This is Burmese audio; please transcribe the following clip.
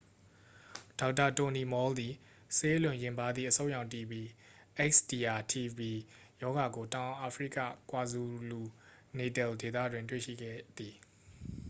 ဒေါက်တာ တိုနီမော်လ် သည် ဆေးအလွန်ယဉ်ပါးသည့် အဆုတ်ရောင် တီဘီ xdr-tb ရောဂါကို တောင်အာဖရိက ကွာဇူလူ-နေတယ်လ် ဒေသတွင် တွေ့ရှိခဲ့သည်။